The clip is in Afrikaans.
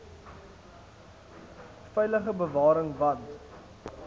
veilige bewaring want